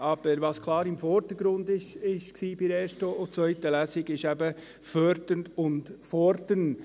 Aber was bei der ersten und zweiten Lesung klar im Vordergrund stand, ist eben Fördern und Fordern.